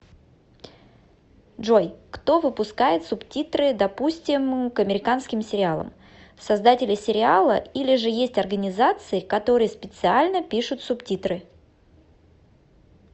джой кто выпускает субтитры допустим к американским сериалам создатели сериала или же есть организации которые специально пишут субтитры